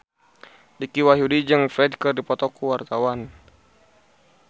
Dicky Wahyudi jeung Ferdge keur dipoto ku wartawan